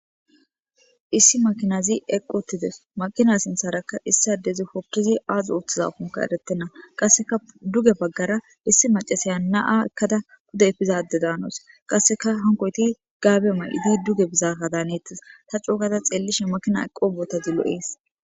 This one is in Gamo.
Issi makinazi eqqottide makina sintharaka issadezi hokkizi aazu uoththiza funka eretenna qasseka duge baggara issi macasaya na'a ekkada huda efizade daanos qasseka hankoyti gaabe mal'idi duge bizaka daanettis ta cuokada xeellishi makina eqqo boota zilo'ees.